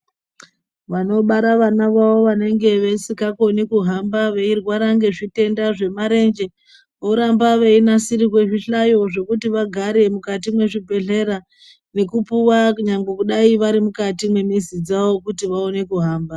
Vanobara vana vavo vanenge vesingakoni kuhamba veirwara ngezvitenda zvemarenje voramba veinasirirwe zvihlayo zvokuti vagare mukati mwezvibhehlera nekupuwa kunyangwe dai varimukati mwemizi dzawo kuti vaone kuhamba.